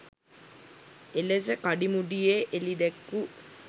එලෙස කඩිමුඩියේ එළිදැක්වූ